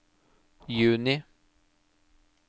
juni